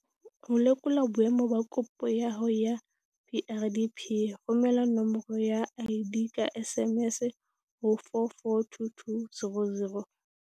Ho lekola boemo ba kopo ya hao ya PrDP, romela nomoro ya ID ka SMS ho 44220.